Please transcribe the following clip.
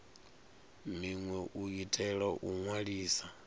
minwe u itela u ṅwalisa